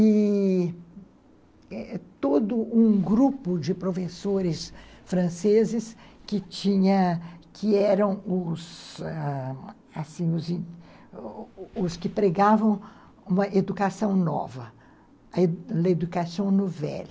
E todo um grupo de professores franceses que tinha que eram os que pregavam uma educação nova, l'éducation nouvelle.